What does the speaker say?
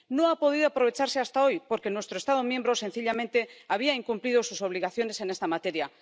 No ha podido aprovecharse hasta hoy porque nuestro Estado miembro, sencillamente, había incumplido sus obligaciones en esta materia.